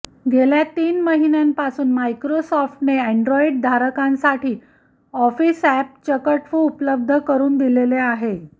गेल्या तीन महिन्यांपासून मायक्रोसॉफ्टने अँड्रॉइडधारकांसाठी ऑफिस अॅप चकटफू उपलब्ध करून दिलेले आहे